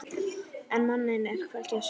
En manninn er hvergi að sjá.